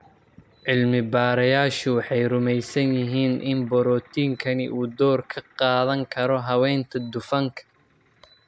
Cilmi-baarayaashu waxay rumaysan yihiin in borotiinkani uu door ka qaadan karo habaynta dufanka.